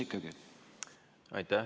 Aitäh!